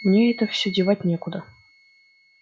мне это все девать некуда